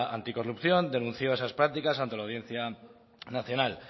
anticorrupción denunció esas prácticas ante la audiencia nacional